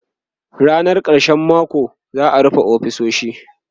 Rannakun karshen mako za'a rufe ofisoshi